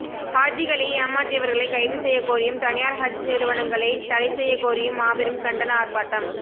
ஹாஜிகளை ஏமாற்றியவர்களை கைது செய்யக்கோரியும் தனியார் ஹஜ் நிறிவனங்களை தடைசெய்யக் கோரியும் மாபெரும் கண்டன ஆர்ப்பாட்டம்